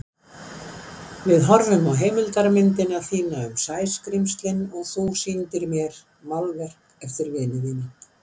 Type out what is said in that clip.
Við horfðum á heimildarmyndina þína um Sæskrímslin og þú sýndir mér málverk eftir vini þína.